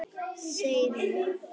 Segir hún.